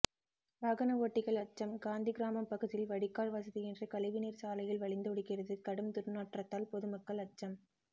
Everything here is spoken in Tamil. வாகன ஓட்டிகள் அச்சம் காந்தி கிராமம் பகுதியில் வடிகால் வசதியின்றி கழிவுநீர் சாலையில் வழிந்தோடுகிறது கடும் துர்நாற்றத்தால் பொதுமக்கள் அச்சம்